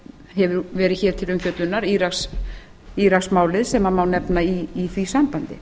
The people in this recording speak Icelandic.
hefur verið hér til umfjöllunar íraksmálið sem má nefna í því sambandi